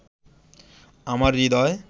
আমার হৃদয়